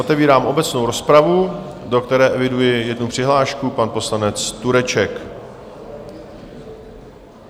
Otevírám obecnou rozpravu, do které eviduji jednu přihlášku, pan poslanec Tureček.